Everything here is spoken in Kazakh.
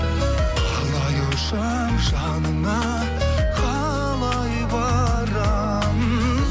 қалай ұшамын жаныңа қалай барамын